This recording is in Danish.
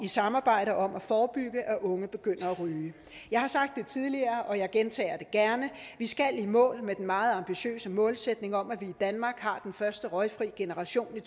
samarbejde om at forebygge at unge begynder at ryge jeg har sagt tidligere og jeg gentager det gerne vi skal i mål med den meget ambitiøse målsætning om at vi i danmark har den første røgfri generation i